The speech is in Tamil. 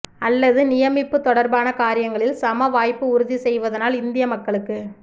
அல்லது நியமிப்பு தொடர்பான காரியங்களில் சம வாய்ப்பு உறுதி செய்வதனால் இந்திய மக்களுக்கு